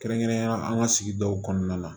Kɛrɛnkɛrɛnnenyala an ka sigidaw kɔnɔna la